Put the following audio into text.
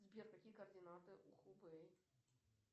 сбер какие координаты у хубэй